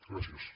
gràcies